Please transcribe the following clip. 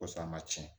Kosɔn a ma tiɲɛ